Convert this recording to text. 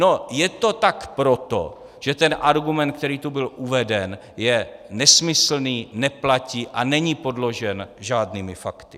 No, je to tak proto, že ten argument, který tu byl uveden, je nesmyslný, neplatí a není podložen žádnými fakty.